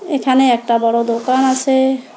এখানে একটা বড় দোকান আসে।